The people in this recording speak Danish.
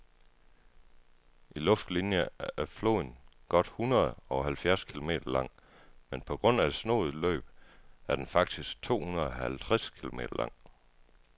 I luftlinie er floden godt hundredeoghalvfjerds kilometer lang, men på grund af det snoede løb er den faktisk tohundredeoghalvtreds kilometer lang.